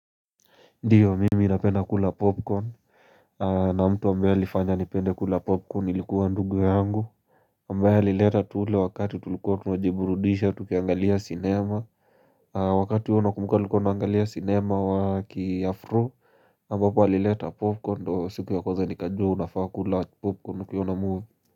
Ndiyo mimi napena kula popcorn na mtu ambaye alifanya nipende kula popcorn alikuwa ndugu yangu ambaya alileta tule wakati tuliko tunajiburudisha tukiangalia cinema wakati huo nakumbuka nilikuwa naangalia cinema wa kiafro ambapo alileta popcorn ndo siku ya kwanza nikajua unafaa kula popcorn ukiona muvie.